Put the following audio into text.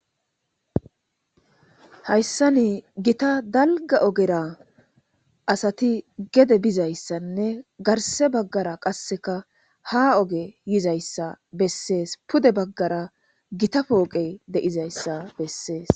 hayssa ni gita dalga ogera asati gede bizayssanne garse baggara qasseka ha oge yizayssa bessees pude baggara gita pooqe de7izayssa bessees